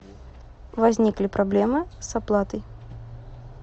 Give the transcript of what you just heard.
возникли проблемы с оплатой